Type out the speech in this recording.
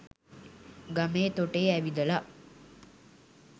ගමේ තොටේ ඇවිදලා